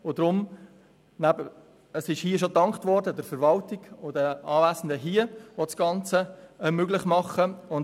Deswegen: Es wurde hier bereits der Verwaltung und allen Anwesenden gedankt;